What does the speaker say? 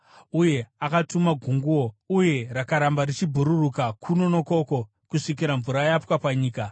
uye akatuma gunguo, uye rakaramba richibhururuka kuno nokoko kusvikira mvura yapwa panyika.